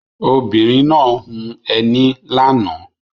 Obìnrin náà hun ẹní lánàá.